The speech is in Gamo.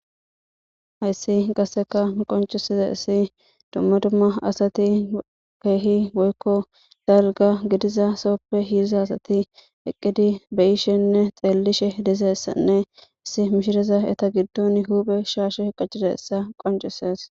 hayssi qaseka miqoncusiza issi duma duma asati keehi woykko dalga gidiza sooppe hiriza asati eqqidi beyishenne xeellishe dizaessanne issi mishireza eta giddon huuphe shaashe qacida issa qoncisees